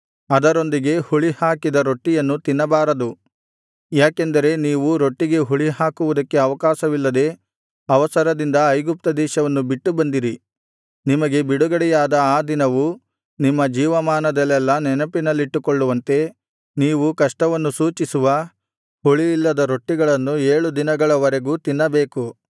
ಅದರೊಂದಿಗೆ ಹುಳಿಹಾಕಿದ ರೊಟ್ಟಿಯನ್ನು ತಿನ್ನಬಾರದು ಯಾಕೆಂದರೆ ನೀವು ರೊಟ್ಟಿಗೆ ಹುಳಿಹಾಕುವುದಕ್ಕೆ ಅವಕಾಶವಿಲ್ಲದೆ ಅವಸರದಿಂದ ಐಗುಪ್ತದೇಶವನ್ನು ಬಿಟ್ಟು ಬಂದಿರಿ ನಿಮಗೆ ಬಿಡುಗಡೆಯಾದ ಆ ದಿನವು ನಿಮ್ಮ ಜೀವಮಾನದಲ್ಲೆಲ್ಲಾ ನೆನಪಿನಲ್ಲಿಟ್ಟುಕೊಳ್ಳುವಂತೆ ನೀವು ಕಷ್ಟವನ್ನು ಸೂಚಿಸುವ ಹುಳಿಯಿಲ್ಲದ ರೊಟ್ಟಿಗಳನ್ನು ಏಳು ದಿನಗಳ ವರೆಗೂ ತಿನ್ನಬೇಕು